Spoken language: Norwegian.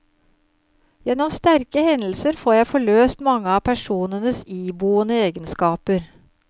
Gjennom sterke hendelser får jeg forløst mange av personenes iboende egenskaper.